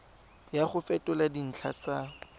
ya go fetola dintlha tsa